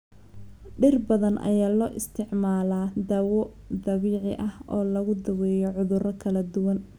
Dhir badan ayaa loo isticmaalaa dawo dabiici ah oo lagu daweeyo cudurro kala duwan.